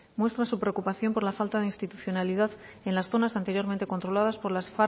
muestra su preocupación por la falta de institucionalidad en las zonas anteriormente controladas por las